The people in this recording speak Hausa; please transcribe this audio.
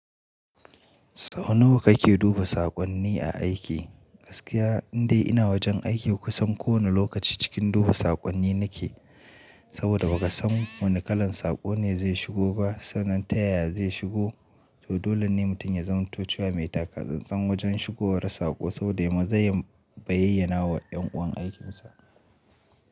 Sau nawa kake duba saƙonni a aiki? Gaskiya indai ina wajen aiki kusan kowane lokaci cikin duba saƙonni nake. Saboda ba ka san wane kalan saƙo ne zai shigo ba, sannan ta yaya zai shigo. To dole ne mutum ya zamto cewa mai taka tsan-tsan wajen shigowar saƙo saboda yai maza ya bayyanawa wa yan uwan aikinsa.